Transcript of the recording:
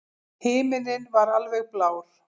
Himinninn var alveg blár.